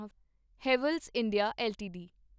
Havells India LTD